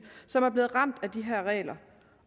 som er blevet ramt af de her regler